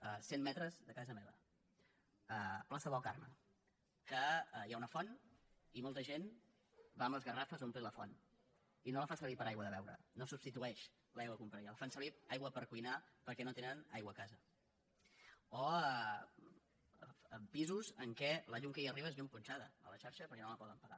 a cent metres de casa meva plaça del carme que hi ha una font i molta gent va amb les garrafes per omplir les a la font i no la fa servir per aigua de beure no substitueix l’aigua que compraria la fan servir com a aigua per cuinar perquè no tenen aigua a casa o pisos en què la llum que hi arriba és llum punxada a la xarxa perquè no la poden pagar